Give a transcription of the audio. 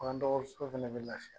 Bagandɔgɔtɔrɔ fana bɛ lafiya